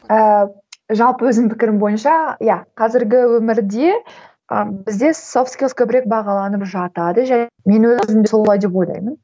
ыыы жалпы өзім пікірім бойынша иә қазіргі өмірде ы бізде софт скилс көбірек бағаланып жатады мен өзім солай деп ойлаймын